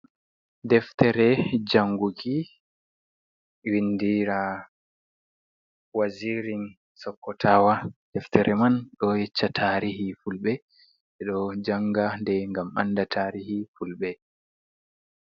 Deftere janguki win dira wazirin sokkotawa. Deftere man ɗo yecca tariha fulɓe. Nde ɗo janga dei gam anda tarihi fulɓe.